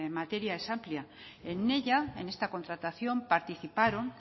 materia es amplia en ella en esta contratación participaron